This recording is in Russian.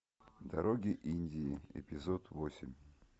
дороги индии эпизод восемь